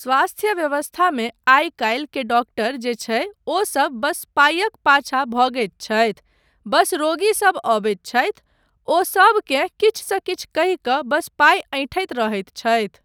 स्वास्थ व्यवस्थामे आइ काल्हि के डॉक्टर जे छै ओसब बस पाइक पाछा भगैत छथि, बस रोगीसब अबैत छथि, ओ सबकेँ किछुसँ किछु कहि कऽ बस पाइ ऐंठैत रहैत छथि।